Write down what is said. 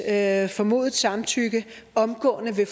at formodet samtykke omgående